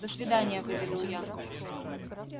до свидания выдавил я